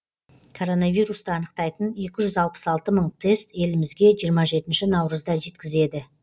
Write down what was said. коронавирусты анықтайтын екі жүз алпыс алты мың тест елімізге жиырма жетінші наурызда жеткізеді